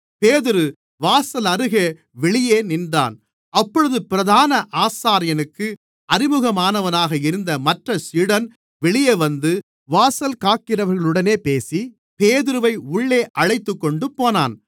பேதுரு வாசலருகே வெளியே நின்றான் அப்பொழுது பிரதான ஆசாரியனுக்கு அறிமுகமானவனாக இருந்த மற்றச் சீடன் வெளியே வந்து வாசல்காக்கிறவர்களுடனே பேசி பேதுருவை உள்ளே அழைத்துக்கொண்டுபோனான்